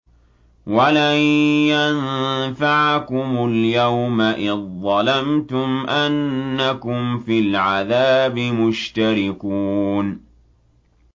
وَلَن يَنفَعَكُمُ الْيَوْمَ إِذ ظَّلَمْتُمْ أَنَّكُمْ فِي الْعَذَابِ مُشْتَرِكُونَ